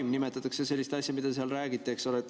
Nii nimetatakse sellist asja, mida te seal räägite.